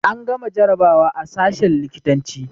An gama jarabawa a sashen likitanci